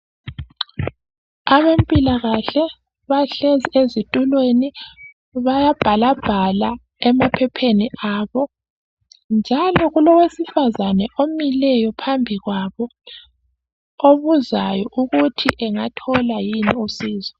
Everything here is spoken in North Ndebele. Abempilakahle bahlezi ezitulweni bayabhalabhala emaphepheni abo njalo kulowesifazana omileyo phambi kwabo obuzayo ukuthi engathola yini usizo.